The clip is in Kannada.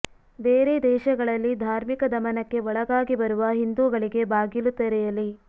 ಬೇರೆ ದೇಶಗಳಲ್ಲಿ ಧಾರ್ಮಿಕ ದಮನಕ್ಕೆ ಒಳಗಾಗಿ ಬರುವ ಹಿಂದೂಗಳಿಗೆ ಬಾಗಿಲು ತೆರೆಯಲಿ